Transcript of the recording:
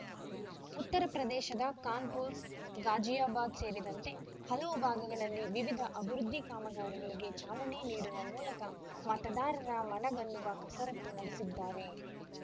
ಉತ್ತರ ಪ್ರದೇಶದ ಖಾನ್‌ಪುರ್ ಗಾಜಿಯಾಬಾದ್ ಸೇರಿದಂತೆ ಹಲವು ಭಾಗಗಳಲ್ಲಿ ವಿವಿಧ ಅಭಿವೃದ್ಧಿ ಕಾಮಗಾರಿಗಳಿಗೆ ಚಾಲನೆ ನೀಡುವ ಮೂಲಕ ಮತದಾರರ ಮನ ಗೆಲ್ಲುವ ಕಸರತ್ತು ನಡೆಸಿದ್ದಾರೆ